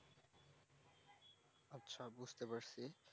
আচ্ছা বুঝতে পারছি